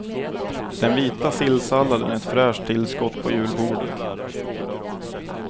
Den vita sillsalladen är ett fräscht tillskott på julbordet.